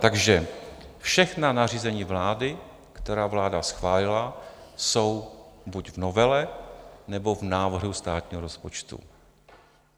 Takže všechna nařízení vlády, která vláda schválila, jsou buď v novele, nebo v návrhu státního rozpočtu.